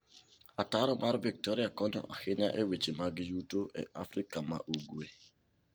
Ataro mar Victoria konyo ahinya e weche mag yuto e Afrika ma Ugwe.